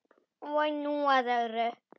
Og nú að öðru.